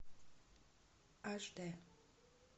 аш дэ